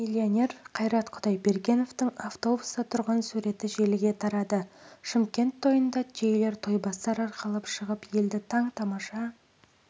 миллионер қайрат құдайбергеновтың автобуста тұрған суреті желіге тарады шымкент тойында түйелер тойбастар арқалап шығып елді таң-тамаша